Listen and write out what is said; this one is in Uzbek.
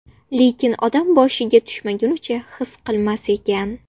Lekin odam boshiga tushmagunicha his qilmas ekan.